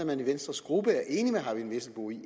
man i venstres gruppe er enig med herre eyvind vesselbo i